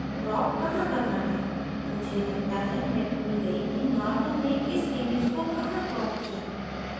crop कहाँ करना है मुझे लगता है मैं भूल गयी कि norman ने इस image को कहाँ crop किया